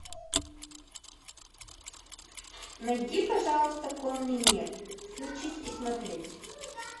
найди пожалуйста конный мир включить и смотреть